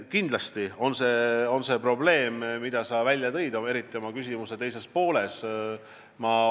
Kindlasti on see probleem, mille sa välja tõid, eriti see, mis oli su küsimuse teises pooles.